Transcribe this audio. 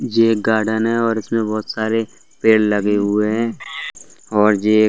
जे एक गार्डन है और इसमें बहोत सारे पेड़ लगे हुए हैं और जे ए --